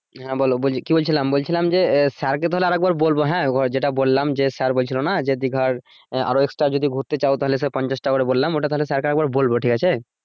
হ্যা বলো কি বলছিলাম বলছিলাম যে আহ স্যার কে তাহলে আর একবার বলব হ্যা যেটা বললাম যে স্যার বলছিলো যে দিঘার আহ আরো extra যদি ঘুরতে চাও তাহলে সব পঞ্ছাশ টাকা করে বললাম ওটা তাহলে স্যার কে আর একবার বলব ঠিক আছে